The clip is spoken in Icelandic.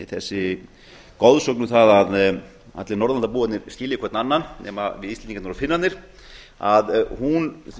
þessi goðsögn um það að allir norðurlandabúarnir skilji hvern annan nema við íslendingarnir og finnarnir að hún